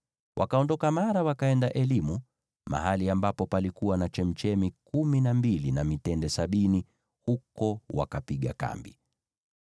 Wakaondoka Mara wakaenda Elimu, mahali ambapo palikuwa na chemchemi kumi na mbili na mitende sabini, huko wakapiga kambi.